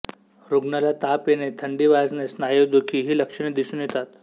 रुग्णाला ताप येणे थंडी वाजणे स्नायू दुखी ही लक्षणे दिसून येतात